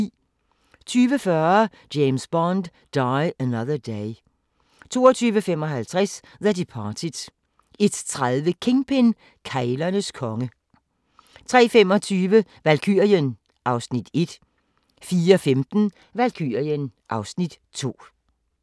20:40: James Bond: Die Another Day 22:55: The Departed 01:30: Kingpin - keglernes konge 03:25: Valkyrien (Afs. 1) 04:15: Valkyrien (Afs. 2)